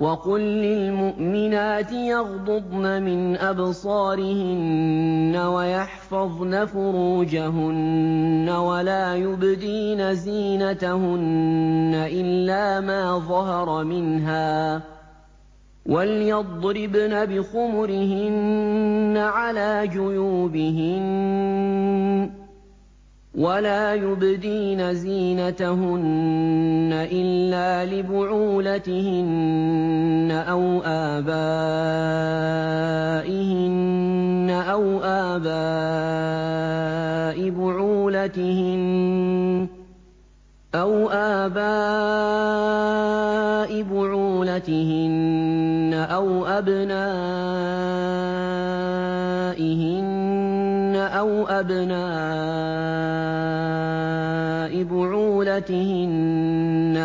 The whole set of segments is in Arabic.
وَقُل لِّلْمُؤْمِنَاتِ يَغْضُضْنَ مِنْ أَبْصَارِهِنَّ وَيَحْفَظْنَ فُرُوجَهُنَّ وَلَا يُبْدِينَ زِينَتَهُنَّ إِلَّا مَا ظَهَرَ مِنْهَا ۖ وَلْيَضْرِبْنَ بِخُمُرِهِنَّ عَلَىٰ جُيُوبِهِنَّ ۖ وَلَا يُبْدِينَ زِينَتَهُنَّ إِلَّا لِبُعُولَتِهِنَّ أَوْ آبَائِهِنَّ أَوْ آبَاءِ بُعُولَتِهِنَّ أَوْ أَبْنَائِهِنَّ أَوْ أَبْنَاءِ بُعُولَتِهِنَّ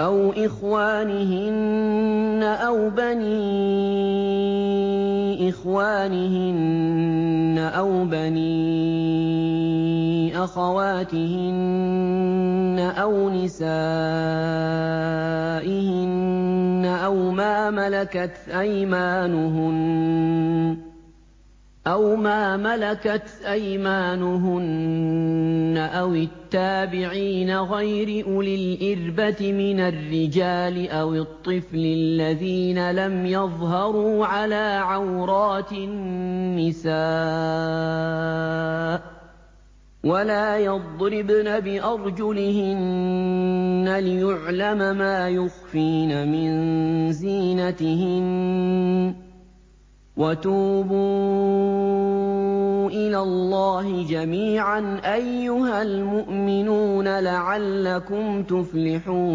أَوْ إِخْوَانِهِنَّ أَوْ بَنِي إِخْوَانِهِنَّ أَوْ بَنِي أَخَوَاتِهِنَّ أَوْ نِسَائِهِنَّ أَوْ مَا مَلَكَتْ أَيْمَانُهُنَّ أَوِ التَّابِعِينَ غَيْرِ أُولِي الْإِرْبَةِ مِنَ الرِّجَالِ أَوِ الطِّفْلِ الَّذِينَ لَمْ يَظْهَرُوا عَلَىٰ عَوْرَاتِ النِّسَاءِ ۖ وَلَا يَضْرِبْنَ بِأَرْجُلِهِنَّ لِيُعْلَمَ مَا يُخْفِينَ مِن زِينَتِهِنَّ ۚ وَتُوبُوا إِلَى اللَّهِ جَمِيعًا أَيُّهَ الْمُؤْمِنُونَ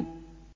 لَعَلَّكُمْ تُفْلِحُونَ